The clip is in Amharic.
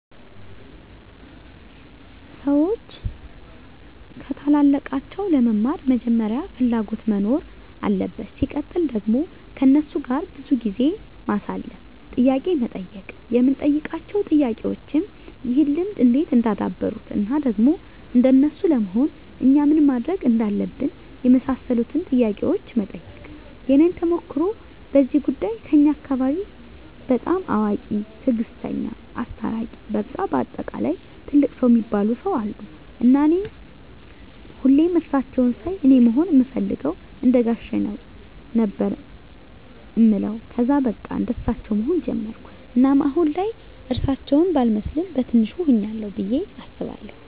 ሰዎች ከታላላቃቸው ለመማር መጀመሪያ ፍላጎት መኖር አለበት ሲቀጥል ደግሞ ከነሱ ጋር ብዙ ጊዜ ማሳለፍ፣ ጥያቄ መጠየቅ የምንጠይቃቸው ጥያቄዎችም ይህን ልምድ እንዴት እንዳደበሩት እና ደግሞ እንደነሱ ለመሆን እኛ ምን ማድረግ እንዳለብን የመሳሰሉትን ጥያቄዎች መጠየቅ። የኔን ተሞክሮ በዚህ ጉዳይ ከኛ አካባቢ በጣም አዋቂ፣ ትግስተኛ፣ አስታራቂ በቃ በአጠቃላይ ትልቅ ሰው እሚባሉ ሰው አሉ እና እኔ ሁሌም እሳቸውን ሳይ አኔ መሆን እምፈልገው እንደጋሼ ነው ነበር እምለው ከዛ በቃ እንደሳቸው መሆን ጀመርኩ እናም አሁን ላይ እርሳቸው ባልመስልም በቲንሹ ሁኛለሁ ብዬ አስባለሁ።